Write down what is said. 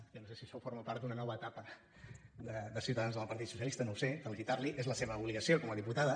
jo no sé si això forma part d’una nova etapa de ciutadans amb el partit socialista no ho sé felicitar la és la seva obligació com a diputada